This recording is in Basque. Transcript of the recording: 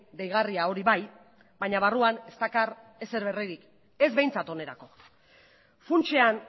deigarria hori bai baina barruan ez dakar ezer berririk ez behintzat onerako funtsean